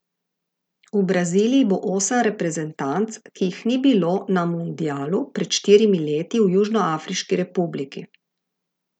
V Braziliji bo osem reprezentanc, ki jih ni bilo na mundialu pred štirimi leti v Južnoafriški republiki.